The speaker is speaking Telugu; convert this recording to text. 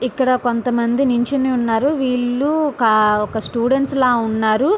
ఇక్కడ కొంతమంది నించుని ఉన్నారు. వీళ్ళు ఒక స్టూడెంట్స్ లా ఉన్నారు.